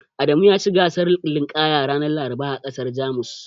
Adamu yaci gasar linƙaya ranar Laraba a ƙasar Jamus.